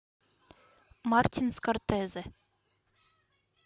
мартин скорсезе